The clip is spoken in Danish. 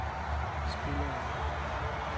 spillere